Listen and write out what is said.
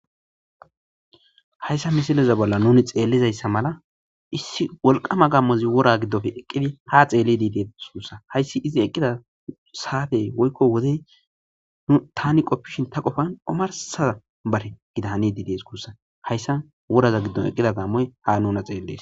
Hayssa misilleza bolla nuni xelizzayssa mala issi wolqqama gammozzi eqqidi ha xellidi de's gissa hayssi eqqida sattey woykko woddey tanni qoffishin ta qoffan ommarssa bari daniddi dees gussa. hayssa worazzan eqqidda gammoy ha nunna xellees.